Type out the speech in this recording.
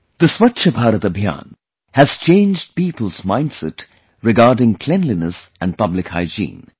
The Swachh Bharat Abhiyan has changed people's mindset regarding cleanliness and public hygiene